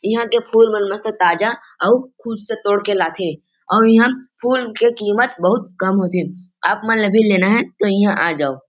इहाँ के फूल मन ह मस्त ताजा अव खुद से तोड़ के लाथे अऊ इहाँ फूल के कीमत बहुत कम होथे आप मन ल भी लेना हे तोह इहाँ आ जाओ --